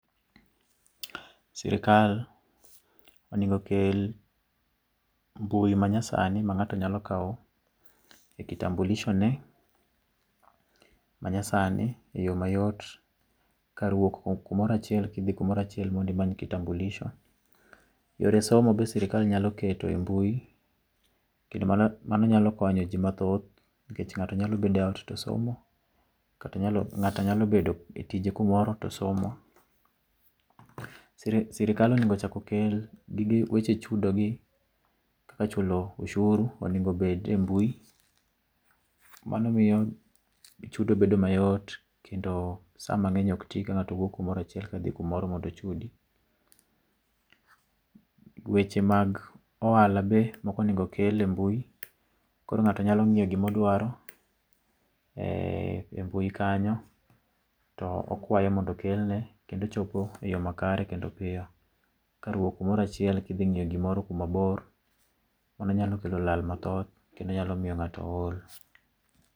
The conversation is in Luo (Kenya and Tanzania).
Sirkal onego okel mbui manyasani ma ngato nyalo kao e kitambulisho ne manyasani e yoo mayot kar wuok kumoro achiel kidhi kumoro achiel mondo imany kitambulisho. Yore somo be sirkal nyalo keto e mbui kendo mano nyalo konyo jii mathoth nikech ngato nyalo bedo e ot tosomo, ngato nyalo bedo tije kumoro to somo . Sirkal onego ochak okel gige, weche chudo gi kaka chulo osuru onego obed e mbui, mano miyo chudo bedo mayot kendo saa mangeny ok tii go ka ngato wuok kumoro achiel kadhi kumoro mondo ochudi. Weche mag ohala be moko onego okel e mbui koro ngato nyalo ngiyo gima odwaro e mbui kanyo to okwayo mondo okelne kendo chopo e yoo makare kendo piyo kar wuok kumoro achiel kadhi ngiyo gimoro kuma bor mano nyalo kelo lal mathoth kendo nyalo miyo ngato ol